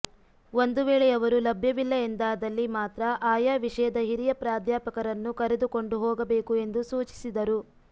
ಒಂದು ವೇಳೆ ಅವರು ಲಭ್ಯವಿಲ್ಲ ಎಂದಾದಲ್ಲಿ ಮಾತ್ರ ಆಯಾ ವಿಷಯದ ಹಿರಿಯ ಪ್ರಾಧ್ಯಾಪಕರನ್ನು ಕರೆದುಕೊಂಡು ಹೋಗಬೇಕು ಎಂದು ಸೂಚಿಸಿದರು